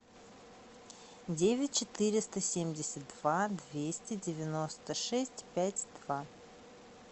девять четыреста семьдесят два двести девяносто шесть пять два